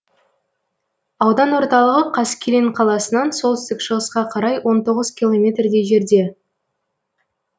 аудан орталығы қаскелең қаласынан солтүстік шығысқа қарай он тоғыз километрдей жерде